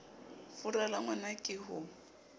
fura la ngwna ke ho